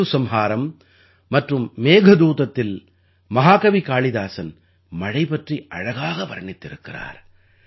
ருதுசம்ஹாரம் மற்றும் மேகதூதத்தில் மஹாகவி காளிதாஸன் மழை பற்றி அழகாக வர்ணித்திருக்கிறார்